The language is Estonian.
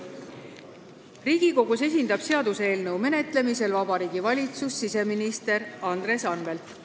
Riigikogus esindab seaduseelnõu menetlemisel Vabariigi Valitsust siseminister Andres Anvelt.